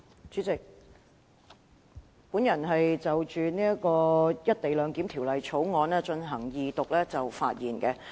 主席，我現就《廣深港高鐵條例草案》的二讀議案發言。